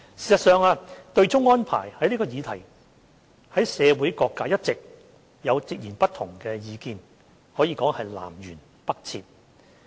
事實上，對沖安排這項議題在社會各界一直有截然不同的意見，可謂南轅北轍。